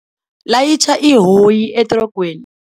Layitjha ihoyi etrogweni.